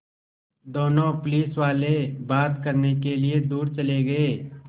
दोनों पुलिसवाले बात करने के लिए दूर चले गए